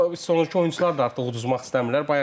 Bu son iki oyunçular da artıq uduzmaq istəmirlər.